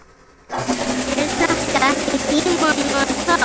Er þetta ekki tímanna tákn?